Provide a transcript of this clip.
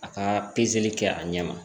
A ka pezeli kɛ a ɲɛ ma